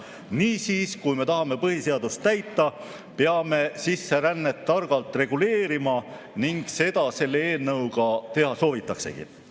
Niisiis, kui me tahame põhiseadust täita, peame sisserännet targalt reguleerima ning seda selle eelnõuga soovitaksegi teha.